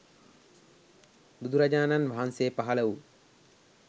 බුදුරජාණන් වහන්සේ පහළ වූ